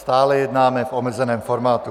Stále jednáme v omezeném formátu.